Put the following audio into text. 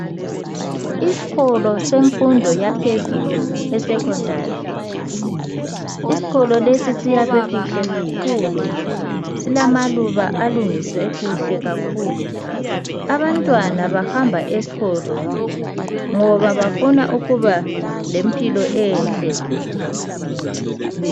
Isikolo semfundo yaphezulu esecondary, isikolo lesi siyakhwe kuhle kakhulu. Silamaluba alungiswe kuhle kakhulu. Abantwana bahamba esikolo ngoba bafuna ukuba lempilo enhle.